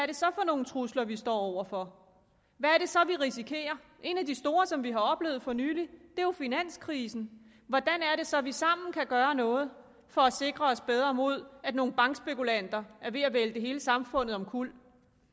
det så er for nogle trusler vi står over for hvad er det så vi risikerer en af de store trusler som vi oplevede for nylig var finanskrisen hvordan er det så at vi sammen kan gøre noget for at sikre os bedre mod at nogle bankspekulanter er ved at vælte hele samfundet omkuld